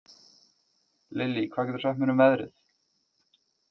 Lilly, hvað geturðu sagt mér um veðrið?